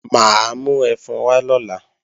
Mà á mú ẹfun wá lọ́la